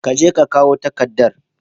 Ka je ka karbo takaddar.